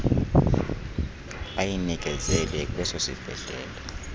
ayinikezele kweso sibhedlele